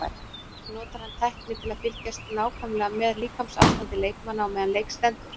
Notar hann tækni til að fylgjast nákvæmlega með líkamsástandi leikmanna á meðan leik stendur?